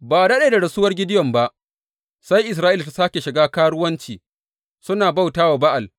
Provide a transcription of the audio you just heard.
Ba a daɗe da rasuwar Gideyon ba, sai Isra’ila ta sāke shiga karuwanci suna bauta wa Ba’al.